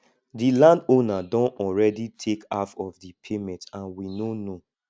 the landowner don already take half of the payment and we no know